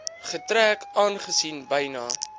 getrek aangesien byna